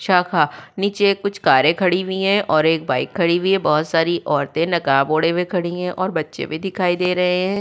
शाखा नीचे कुछ कारे खड़ी हुई है और एक बाइक खड़ी हुई है बहुत सारी औरतें नकाब ओढ़े हुए खड़ी है और बच्चे भी दिखाई दे रहे हैं।